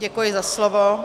Děkuji za slovo.